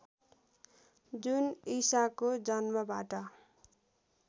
जुन ईसाको जन्मबाट